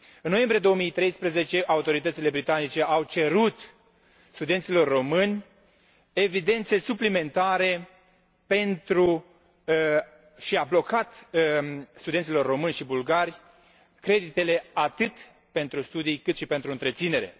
În noiembrie 2013, autoritățile britanice au cerut studenților români evidențe suplimentare și a blocat studenților români și bulgari creditele, atât pentru studii, cât și pentru întreținere.